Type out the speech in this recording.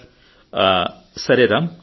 సరే రామ్